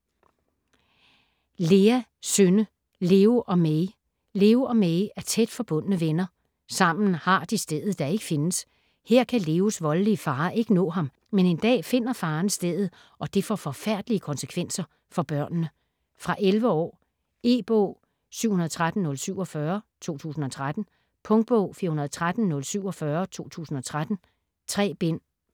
Lea, Synne: Leo og Mei Leo og Mei er tæt forbundne venner. Sammen har de stedet, der ikke findes. Her kan Leos voldelige far ikke nå ham. Men en dag finder faren stedet og det får forfærdelige konsekvenser for børnene. Fra 11 år. E-bog 713047 2013. Punktbog 413047 2013. 3 bind.